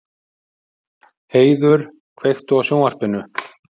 Heiður, kveiktu á sjónvarpinu.